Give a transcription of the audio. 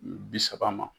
Bi saba ma